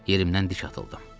Yerimdən dik atıldım.